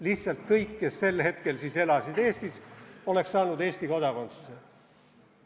Lihtsalt kõik, kes sel hetkel elasid Eestis, oleks saanud Eesti kodakondsuse.